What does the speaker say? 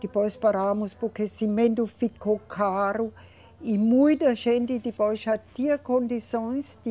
Depois paramos porque cimento ficou caro e muita gente depois já tinha condições de